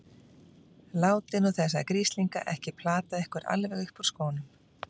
Látið nú þessa grislinga ekki plata ykkur alveg upp úr skónum!